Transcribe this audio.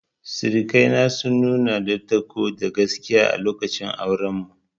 Sirikai na sun nuna dattako da gaskiya a lokacin auren mu.